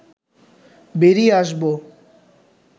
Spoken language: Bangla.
বেরিয়ে আসব